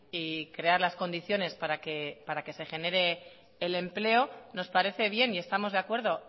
y crear las condiciones para que se genere el empleo nos parece bien y estamos de acuerdo